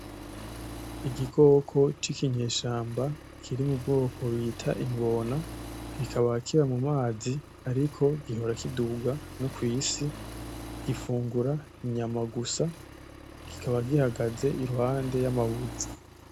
Igikoko c'ikinyeshamba kiri mu bwoko bita ingona, kikaba kiba mu mazi ariko gihora kiduga no kw'isi, gifungura inyama gusa, kikaba gihagaze iruhande y'amabuye.